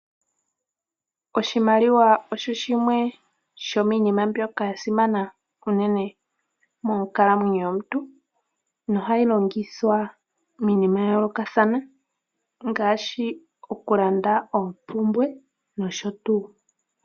Oshimaliwa osho shimwe shomiinima mbyoka ya simana unene monkalamwenyo yomuntu, nohayi longithwa miinima ya yoolokathana, ngaashi okulanda oompumbwe nosho tuu.